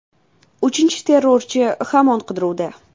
Uchinchi terrorchi hamon qidiruvda.